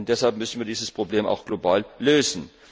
Deshalb müssen wir dieses Problem auch global lösen!